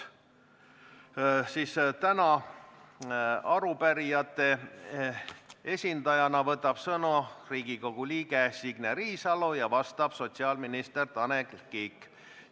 Arupärijate esindajana võtab täna sõna Riigikogu liige Signe Riisalo, vastab sotsiaalminister Tanel Kiik.